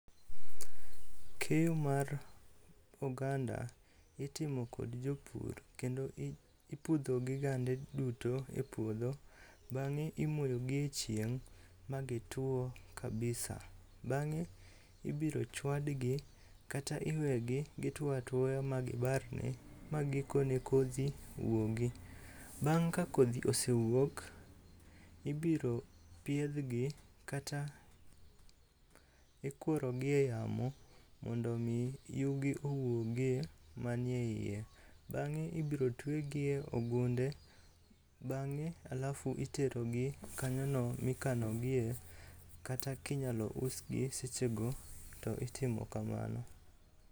Keyo mar oganda itimo kod jopur kendo ipudhogi gande duto e puodho bang'e imoyogi e chieng' ma gitwo kabisa. Bang'e ibiro chwadgi kata iwegi gitwo atwoya magibarre magikone kodhi wuogi. Bang' ka kodhi osewuok, ibiro piedhgi kata ikurogi e yamo mondo omi yugi owuogie manie iye. Bang'e ibiro twegi e ogunde, bang'e alafu iterogi kanyono mikanogie kata kinyalo usgi sechego to itimo kamano.